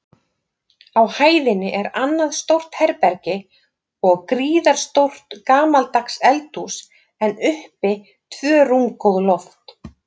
Á hæðinni er annað stórt herbergi og gríðarstórt gamaldags eldhús, en uppi tvö rúmgóð loft.